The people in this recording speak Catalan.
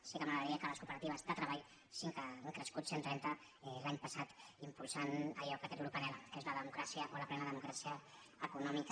sí que m’agradaria que les cooperatives de treball cinc que han crescut cent trenta l’any passat impul·sant allò que aquest grup anhela que és la democràcia o la plena democràcia econòmica